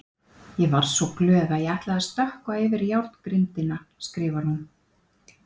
Ég varð svo glöð að ég ætlaði að stökkva yfir járngrindina, skrifar hún.